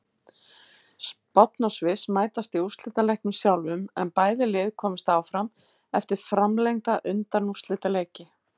Spánn og Sviss mætast í úrslitaleiknum sjálfum en bæði lið komust áfram eftir framlengda undanúrslitaleiki.